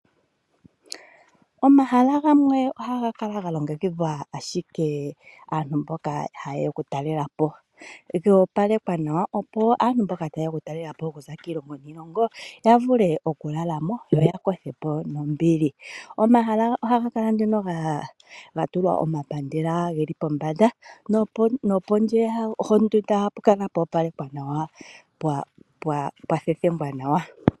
Omahala gamwe ohaga kala ga longekidhilwa ashike aantu mboka hayeya oku talelapo, goopalekwa nawa opo aantu mboka tayeya okutalelapo okuza kiilongo niilongo ya vule okulala mo yo ya kothe po nombili. Omahala ohaga kala ga tulwa omapandela geli pombanda nopondje yondunda ohapu kala pwa opalekwa nawa pwa thethengwa nawa.